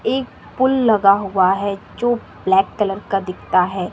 एक पुल लगाया हुआ है जो ब्लैक कलर का दिखता है।